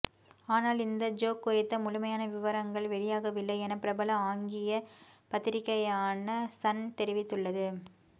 ஆனால் இந்த ஜோக் குறித்த முழுமையான விவரங்கள் வெளியாகவில்லை என பிரபல ஆங்கிய பத்திரிக்கையான சன் தெரிவித்துள்ளது